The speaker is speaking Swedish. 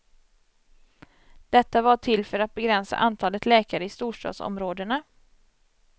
Detta var till för att begränsa antalet läkare i storstadsområdena.